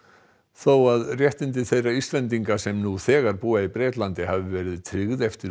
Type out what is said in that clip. þó að réttindi þeirra Íslendinga sem nú þegar búa í Bretlandi hafi verið tryggð eftir